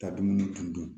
Ka dumuni tundun